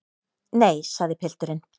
Nei, sagði pilturinn.